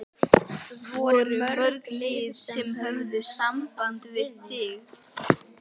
Voru mörg lið sem höfðu samband við þig?